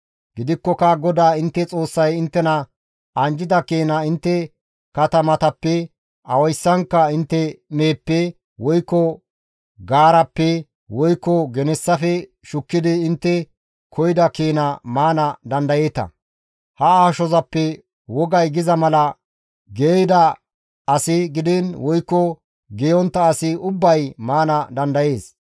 Gidikkoka GODAA intte Xoossay inttena anjjida keena intte katamatappe awayssankka intte meheppe, woykko gaarappe woykko genessafe shukkidi intte koyida keena maana dandayeeta; ha ashozappe wogay giza mala geeyida asi gidiin woykko geeyontta asi ubbay maana dandayees.